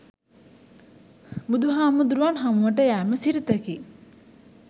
බුදුහාමුදුරුවන් හමුවට යෑම සිරිතකි.